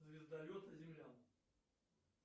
звездолеты землян